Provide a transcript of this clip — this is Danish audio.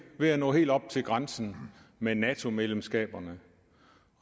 ved at nå helt op til grænsen med nato medlemskaberne